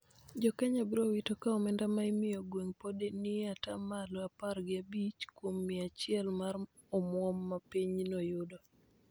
Jo Kenya biro wito ka omenda ma imiyo gwenge pod ni e ata malo apar gi abich kuom mia achiel mar omwom ma pinyno yudo